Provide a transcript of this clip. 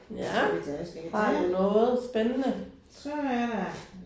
Ja har du noget spændende?